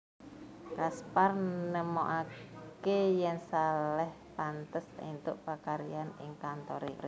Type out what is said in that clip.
Caspar nemokaké yèn Salèh pantes éntuk pakaryan ing kantoré